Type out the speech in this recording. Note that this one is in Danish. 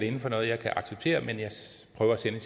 inden for noget jeg kan acceptere men jeg prøver at sende